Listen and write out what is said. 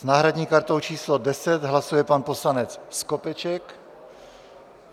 S náhradní kartou číslo 10 hlasuje pan poslanec Skopeček.